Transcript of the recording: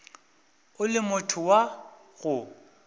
o le motho wa go